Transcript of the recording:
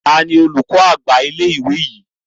Tani olùkọ́ àgbà ilé ìwé yìí?